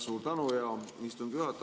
Suur tänu, hea istungi juhataja!